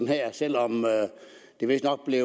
her selv om der vistnok er